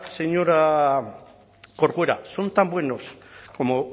corcuera son tan buenos como